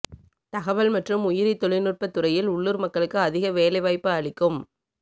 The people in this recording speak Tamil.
தகவல் மற்றும் உயிரித் தொழில்நுட்பத் துறையில் உள்ளூர் மக்களுக்கு அதிக வேலைவாய்ப்பு அளிக்கும்